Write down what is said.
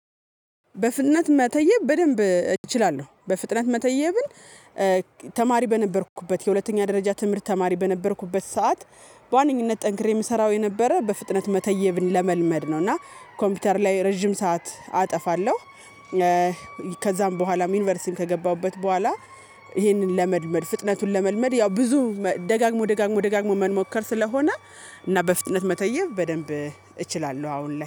በፍጥነት መተየብ በደንብ እችላለሁ። በፍጥነት መተየብን ተማሪ በነበርኩበት የሁለተኛ ደረጃ ትምህርት ተማሪ በነበርኩበት ሰዓት። በዋነኝነት ጠንክሬ የምሰራው የነበረ በፍጥነት መተየብን ለመልመድ ነው። እና ኮምፒውተር ላይ ረጅም ሰዓት አጠፋለሁ። ከዛም በኋላም ዩኒቨርሲቲን ከገባሁበት በኋላ። ይሄንን ለመድመድ ፍጥነቱን ለመልመድ ያው ብዙ ደጋግሞ ደጋግሞ ደጋግሞ መንሞከር ስለሆነ። እና በፍጥነት መተየብ በደንብ እችላለሁ አሁን ላይ